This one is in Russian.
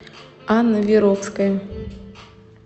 анна веровская